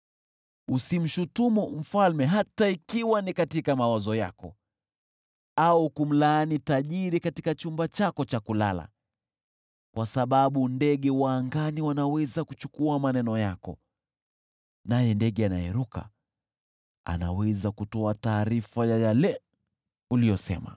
Usimshutumu mfalme hata ikiwa ni katika mawazo yako, au kumlaani tajiri katika chumba chako cha kulala, kwa sababu ndege wa angani wanaweza kuchukua maneno yako, naye ndege anayeruka anaweza kutoa taarifa ya yale uliyosema.